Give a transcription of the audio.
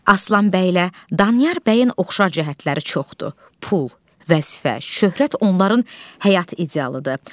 Aslan bəylə Danyar bəyin oxşar cəhətləri çoxdur, pul, vəzifə, şöhrət onların həyat idealıdır.